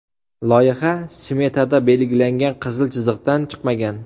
Loyiha smetada belgilangan qizil chiziqdan chiqmagan.